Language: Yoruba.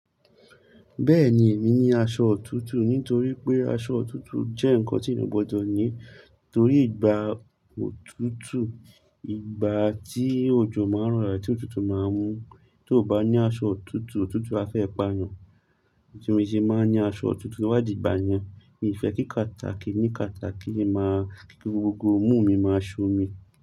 Bẹ́ẹ̀ni, èmi ní aṣọ òtútù nítorí pé aṣọ òtútù jẹ́ nǹkan tí ènìyàn gbọdọ̀ ní torí ìgbà òtútù, ìgbà tí òjò máa ń rọ̀ rà tí òtútù máa ń mú. Tó o bá ní aṣọ òtútù, òtútù á fẹ́ pa yàn. Nítorí mi sì máa ń ní aṣọ òtútù tóbá dìgbà yẹn. Mi ò fẹ́ kí catarrh ki ní catarrh máa kí gbogbo imú mi máa ṣomi.